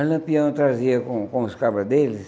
Aí Lampião trazia com com os cabras deles,